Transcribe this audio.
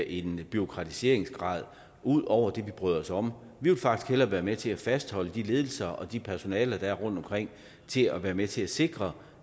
en bureaukratiseringsgrad ud over det vi bryder os om vi vil faktisk hellere være med til at fastholde de ledelser og det personale der er rundtomkring til at være med til at sikre